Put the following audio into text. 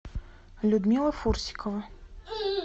людмила фурсикова